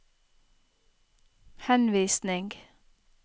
henvisning